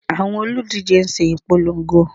Àwọn olùdíje ń ṣe ipolongo